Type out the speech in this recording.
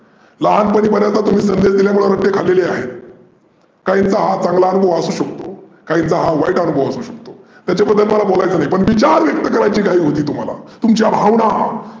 लहानपनी बर्याचदा तुम्ही रट्टे खाल्लेले आहेत. काहींचा हा चांगला अनुभव असूशकतो, काहींचा हा वाईट अनूभव असू शकतो. त्याच्या बद्दल मला काही होलायचं नाही. पण विचार व्यक्त करण्याची घाई होती तुम्हाला, तुमच्या भावना